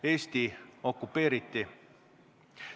Eesti okupeeriti.